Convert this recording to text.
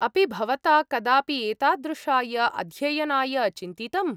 अपि भवता कदापि एतादृशाय अध्ययनाय चिन्तितम्?